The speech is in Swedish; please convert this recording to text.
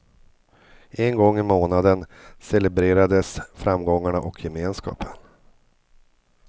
En gång i månaden celebrerades framgångarna och gemenskapen.